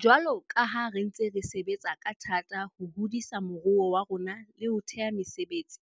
Jwalo ka ha re ntse re sebetsa ka thata ho hodisa moruo wa rona le ho thea mesebetsi,